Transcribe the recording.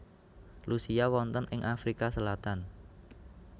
Lucia wonten ing Afrika Selatan